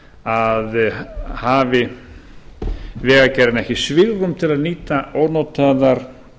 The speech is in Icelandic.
að hafi vegagerðin ekki svigrúm til að nýta ónotaðar